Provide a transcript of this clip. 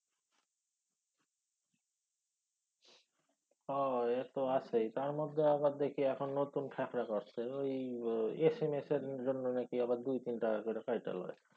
হ এত আছেই। তারমধ্যে আবার দেখি এখন নতুন ফ্যাক্রা করছে ঐ এসেমেসের জন্য নাকি আবার দুই তিন টাকা কইরা কাইটা লয়।